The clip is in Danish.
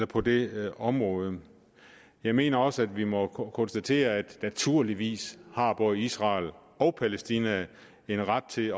på det område jeg mener også at vi må konstatere at naturligvis har både israel og palæstina en ret til